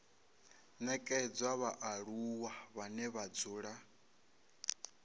nekedzwa vhaaluwa vhane vha dzula